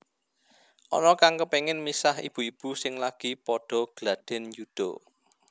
Ana kang kepengin misah ibu ibu sing lagi padha gladhen yuda